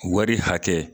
Wari hakɛ